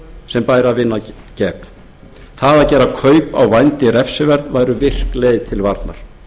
sem bæri að vinna gegn það að gera kaup á vændi refsiverð væri virk leið til varnar